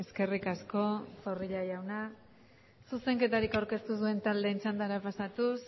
eskerrik asko zorrilla jauna zuzenketarik aurkeztu ez duen taldeen txandara pasatuz